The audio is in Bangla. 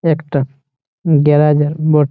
একটা গ্যারাজ আর ব--